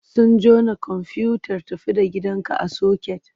Sun jona komfuyutar tafi da gidanka a soket?